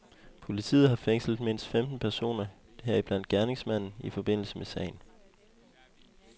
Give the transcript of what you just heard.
Politiet har fængslet mindst femten personer, heriblandt gerningsmanden, i forbindelse med sagen.